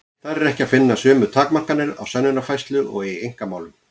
Þar er ekki að finna sömu takmarkanir á sönnunarfærslu og í einkamálum.